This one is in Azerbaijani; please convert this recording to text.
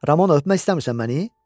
Ramona öpmək istəmirsən məni?